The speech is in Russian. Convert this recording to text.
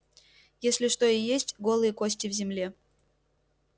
если что и есть голые кости в земле